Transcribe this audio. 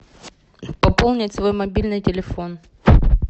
пополнить свой мобильный телефон